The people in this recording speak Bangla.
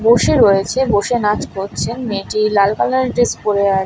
বসে রয়েছে বসে নাচ করছেন মেয়েটি লাল কালার এর ড্রেস পরে আ --